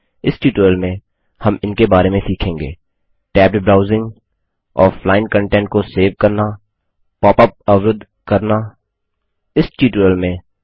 इस ट्यूटोरियल में हम इनके बारे में सीखेंगे टैब्ड ब्राउज़िंग ऑफलाइन कंटेंट को सेव करना पॉप अप अवरूद्ध करना पॉप अप ब्लोकिंग